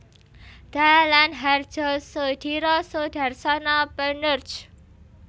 Dalam Hardjosoediro Soedarsono penerj